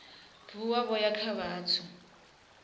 vuwa vho ya kha vhathu